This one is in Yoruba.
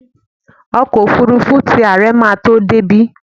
Ọkọ́ òfurufú ti àre ma tó débí.